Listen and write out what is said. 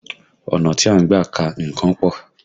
Ọ̀nà tí a ń gbà ka nǹkan pọ̀